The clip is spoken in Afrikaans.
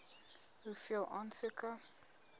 hoeveel aansoeke